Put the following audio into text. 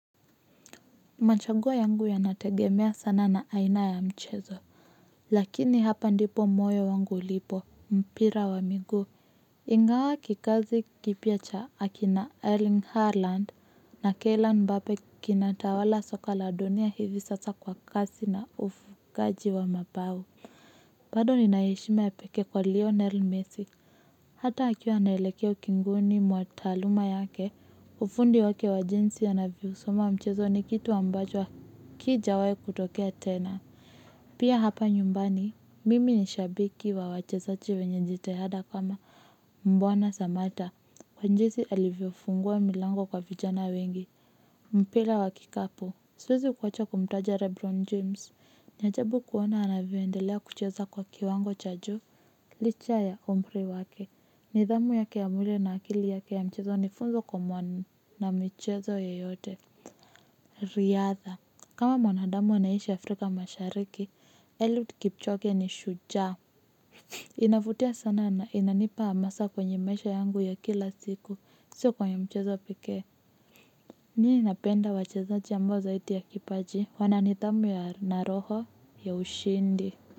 Machagua yangu yanategemea sana na aina ya mchezo lakini hapa ndipo moyo wangu ulipo mpira wa miguu ingawa kikazi kipya cha akina erling harland na keila mbape kinatawala soko la dunia hivi sasa kwa kasi na ufungaji wa mabao bado nina heshima ya pekee kwa lionel messi hata akiwa anaelekea ukingoni mwa taaluma yake ufundi wake wa jinsi anavyosoma mchezo ni kitu ambacho hakijawahi kutokea tena pia hapa nyumbani mimi ni shabiki wa wachezaji wenye jitihada kama bwana samata kwa jinsi alivyofungua milango kwa vijana wengi mpira wa kikapu siwezi kuacha kumtaja lebron james ni ajabu kuona anavyoendelea kucheza kwa kiwango cha juu. Licha ya umri wake nidhamu yake ya mwili na akili yake ya michezo ni funzo kwa mwana michezo yeyote. Riadha kama mwanadamu anaishi Afrika mashariki eliud kipchoge ni shujaa. Inavutia sana na inanipa hamasa kwenye maisha yangu ya kila siku sio kwa ya mchezo pekee mimi napenda wachezaji ambao zaidi ya kipaji wana nidhamu ya na roho ya ushindi.